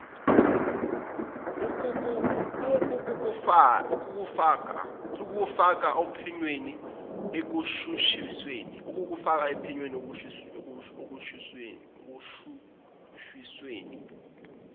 ukukufaka ophenyweni ekushushisweni